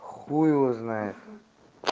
хуй его знает